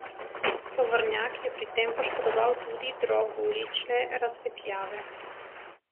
Tovornjak je pri tem poškodoval tudi drog ulične razsvetljave.